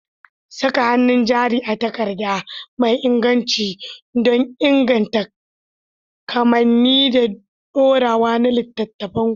Saka hannun jari a takarda mai inganci don inganta kamanni da dorewa na littattafanku.